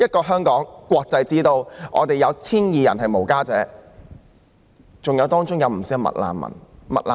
香港是國際之都，在 1,200 名露宿者中，不少是"麥難民"。